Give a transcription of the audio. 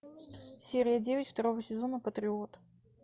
серия девять второго сезона патриот